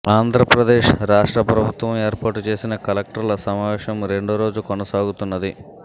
ఆంధ్రప్రదేశ్ రాష్ట్ర ప్రభుత్వం ఏర్పాటు చేసిన కలెక్టర్ల సమావేశం రెండో రోజు కొనసాగుతున్నది